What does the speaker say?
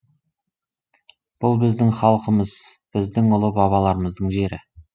бұл біздің халқымыз біздің ұлы бабаларымыздың жері